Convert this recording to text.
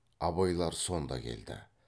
абайлар сонда келді